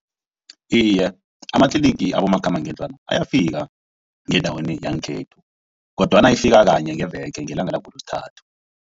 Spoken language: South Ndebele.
Iye, amatlinigi abomakhambangendlwana ayafika ngendaweni yangekhethu kodwana ifika kanye ngeveke ngelanga langoLosithathu.